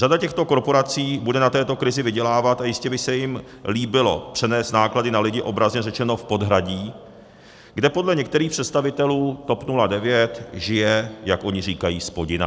Řada těchto korporací bude na této krizi vydělávat a jistě by se jim líbilo přenést náklady na lidi obrazně řečeno v podhradí, kde podle některých představitelů TOP 09 žije, jak oni říkají, spodina.